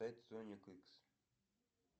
пять соник икс